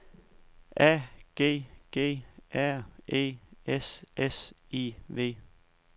A G G R E S S I V